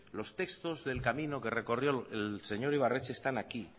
los textos del camino que recorrió el señor ibarretxe están aquí